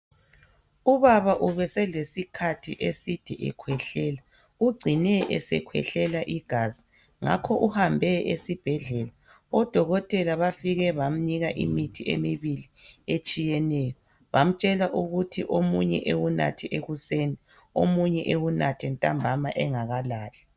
Ubaba ube eselesikhathi eside ekhwehlela. Ungcine esekhwehlela igazi ngakho uhambe esibhedlela. Odokotela bafike bamnika imithi emibili etshiyeneyo. Bamtshela ukuthi omunye ewunathe ekuseni, omunye ewunathe ntambama engakalali.